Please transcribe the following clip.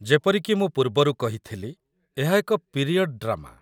ଯେପରି କି ମୁଁ ପୂର୍ବରୁ କହିଥିଲି, ଏହା ଏକ ପିରିୟଡ୍ ଡ୍ରାମା।